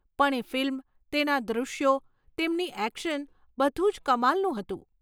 પણ એ ફિલ્મ, તેના દૃશ્યો, તેમની એક્શન, બધું જ કમાલનું હતું.